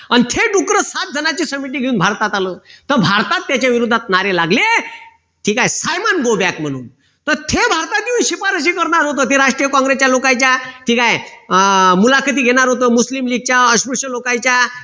सात जणांची समिती घेऊन भारतात आलं तर भारतात त्याच्या विरोधात नारे लागले ठीक आहे सायमंड go back म्ह्णून तर ते भारतात येऊन शिपारशी करणार होत ते राष्ट्रीय लोकांच्या काँग्रेसच्या ठीक आहे मुलाखती घेणार होत मुस्लिम च्या अस्पृश्य लोकांच्या